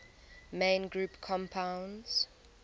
main group compounds